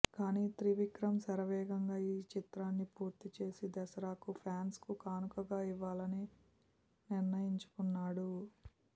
కాని త్రివిక్రమ్ శరవేగంగా ఈ చిత్రాన్ని పూర్తి చేసి దసరాకు ఫ్యాన్స్కు కానుకగా ఇవ్వాలని నిర్ణయించుకున్నాడు